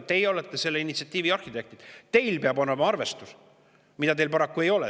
Teie olete selle initsiatiivi arhitektid, teil peab olema arvestus, mida teil paraku ei ole.